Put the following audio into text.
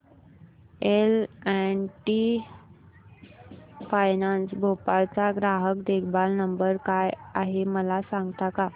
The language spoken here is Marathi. L and T finance Bhopal चा ग्राहक देखभाल नंबर काय आहे मला सांगता का